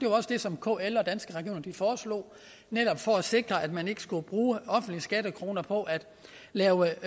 også det som kl og danske regioner foreslog netop for at sikre at man ikke skulle bruge offentlige skattekroner på at lave